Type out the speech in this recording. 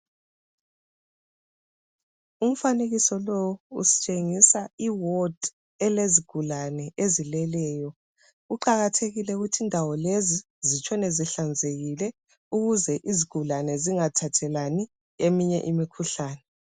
Umfanekiso lo usitshengisa iwadi elezigulane ezileleyo kuqakathekile ukuthi indawo lezi zitshone zihlanzekile ukuze izigulane zingathathelani eminye imikhuhlane